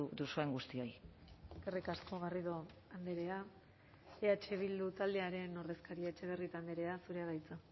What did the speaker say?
duzuen guztioi eskerrik asko garrido andrea eh bildu taldearen ordezkaria etxebarrieta andrea zurea da hitza